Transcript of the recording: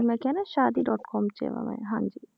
ਮੈਂ ਕਿਹਾ ਨਾ ਸ਼ਾਦੀ dot com 'ਚ ਆਂ ਵਾਂ ਮੈਂ ਹਾਂਜੀ